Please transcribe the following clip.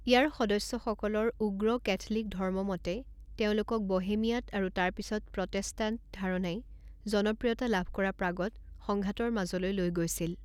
ইয়াৰ সদস্যসকলৰ উগ্ৰ কেথলিক ধৰ্মমতে তেওঁলোকক বোহেমিয়াত আৰু তাৰ পিছত প্ৰটেষ্টাণ্ট ধাৰণাই জনপ্ৰিয়তা লাভ কৰা প্ৰাগত সংঘাতৰ মাজলৈ লৈ গৈছিল।